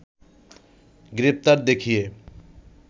গ্রেপ্তার দেখিয়ে